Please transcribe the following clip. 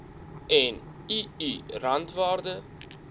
en ii randwaarde